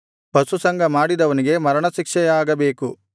ಪಶುಸಂಗ ಮಾಡಿದವನಿಗೆ ಮರಣಶಿಕ್ಷೆಯಾಗಬೇಕು